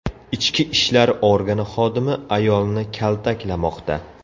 Ichki ishlar organi xodimi ayolni kaltaklamoqda.